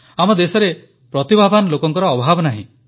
ଆମ ଦେଶରେ ପ୍ରତିଭାବାନ ଲୋକଙ୍କର ଅଭାବ ନାହିଁ